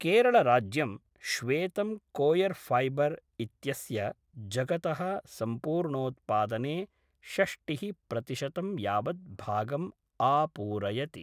केरळराज्यं श्वेतं coir fibre इत्यस्य जगतः सम्पूर्णोत्पादने षष्टिः प्रतिशतं यावत् भागम् आपूरयति।